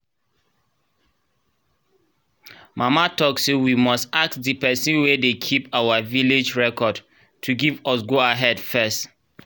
mama talk say we must ask de pesin wen de keep our village record to give us go ahead fess